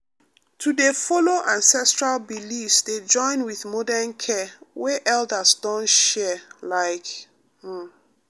to dey follow ancestral beliefs dey join with modern care wey elders don share like um